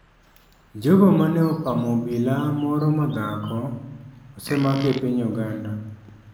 Jogo ma ne opamo obila moro madhako osemaki e piny uganda.